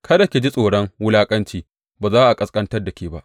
Kada ki ji tsoron wulaƙanci, ba za a ƙasƙantar da ke ba.